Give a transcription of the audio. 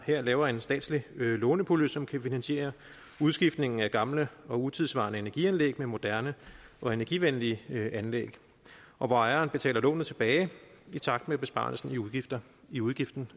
her laver en statslig lånepulje som kan finansiere udskiftningen af gamle og utidssvarende energianlæg med moderne og energivenlige anlæg og hvor ejeren betaler lånet tilbage i takt med besparelsen i udgiften